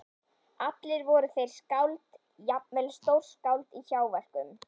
Allir voru þeir skáld, jafnvel stórskáld- í hjáverkum.